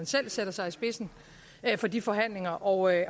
selv sætter sig i spidsen for de forhandlinger og at